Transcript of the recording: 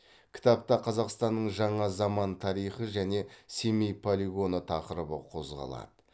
кітапта қазақстанның жаңа заман тарихы және семей полигоны тақырыбы қозғалады